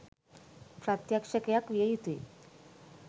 ප්‍රත්‍යක්‍ෂකයක් විය යුතු ය.